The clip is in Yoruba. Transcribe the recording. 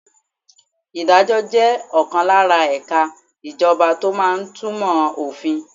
Ìdájọ́ jẹ́ ọ̀kan lára ẹ̀ka ìjọba tó máa ń túmọ̀ òfin.